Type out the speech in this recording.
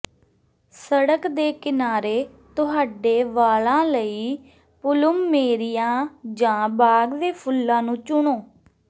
ਸੜਕ ਦੇ ਕਿਨਾਰੇ ਤੁਹਾਡੇ ਵਾਲਾਂ ਲਈ ਪਲੁਮਮੇਰੀਆ ਜਾਂ ਬਾਗ ਦੇ ਫੁੱਲਾਂ ਨੂੰ ਚੁਣੋ